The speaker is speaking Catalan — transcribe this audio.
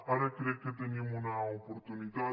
ara crec que tenim una oportunitat